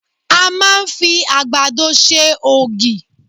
A máà ń fi àgbàdo ṣe ògì.